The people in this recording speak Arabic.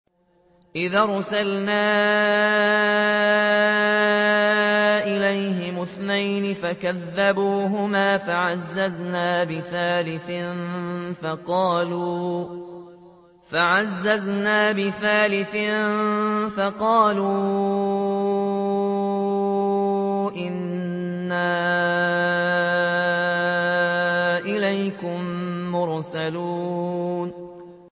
إِذْ أَرْسَلْنَا إِلَيْهِمُ اثْنَيْنِ فَكَذَّبُوهُمَا فَعَزَّزْنَا بِثَالِثٍ فَقَالُوا إِنَّا إِلَيْكُم مُّرْسَلُونَ